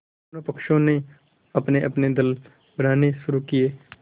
दोनों पक्षों ने अपनेअपने दल बनाने शुरू किये